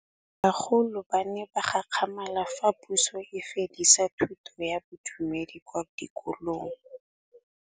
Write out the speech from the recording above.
Bagolo ba ne ba gakgamala fa Pusô e fedisa thutô ya Bodumedi kwa dikolong.